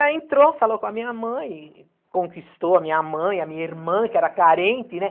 aí entrou, falou com a minha mãe, conquistou a minha mãe, a minha irmã, que era carente, né?